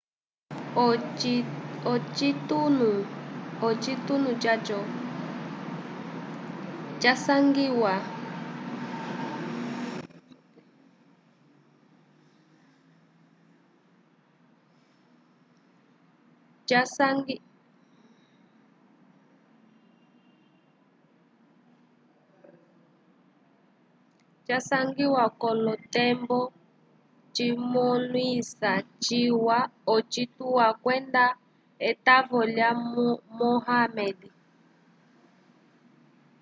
ocitunu caco casangiwa k'olotembo cimõlisa ciwa ocituwa kwenda etavo lya muhammad